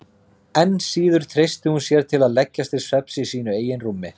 Enn síður treysti hún sér til að leggjast til svefns í sínu eigin rúmi.